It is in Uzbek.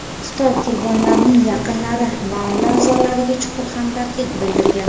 Xitoy qurbonlarning yaqinlari va oila a’zolariga chuqur hamdardlik bildirgan.